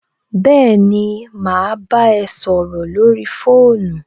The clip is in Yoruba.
Béèni, mà á bámi ẹ sọrọ lórí fóònù